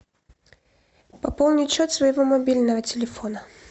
пополнить счет своего мобильного телефона